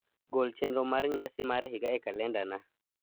gol chenro mar nyasi mar higa e kalendana